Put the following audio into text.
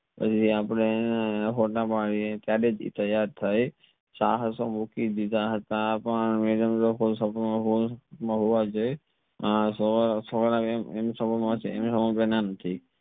આજી અપડે હેને હોતા પાડીએ ત્યરેહ થી ટાયર થઈ સહસા મૂકી દીધા હતા પણ મળવા જઇસ નથી